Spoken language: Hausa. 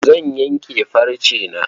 Zan yanke farcena.